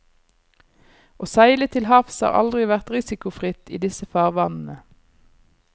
Å seile til havs har aldri vært risikofritt i disse farvannene.